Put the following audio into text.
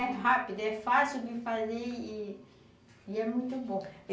É rápido, é fácil de fazer e é muito bom.